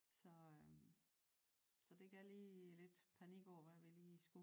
Så så det gav lige lidt panik over hvad vi lige skulle